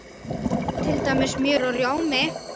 Til dæmis smjör og rjómi!